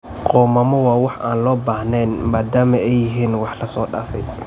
Qoomamo waa wax aan loo baahnayn maadaama ay yihiin wax laso daafay.